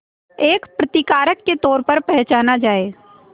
एक प्रतिकारक के तौर पर पहचाना जाए